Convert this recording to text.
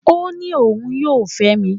Ó ní òun yóò fẹ́ mi.